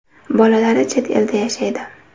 Bolalari chet elda yashaydi.